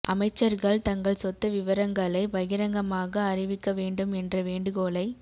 அமைச்சர்கள் தங்கள் சொத்து விவரங்களை பகிரங்கமாக அறிவிக்க வேண்டும் என்ற வேண்டுகோளை